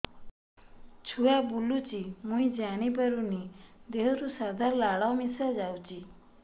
ଛୁଆ ବୁଲୁଚି ମୁଇ ଜାଣିପାରୁନି ଦେହରୁ ସାଧା ଲାଳ ମିଶା ଯାଉଚି